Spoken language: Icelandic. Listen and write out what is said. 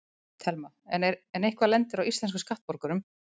Telma: En eitthvað lendir á íslenskum skattborgurum?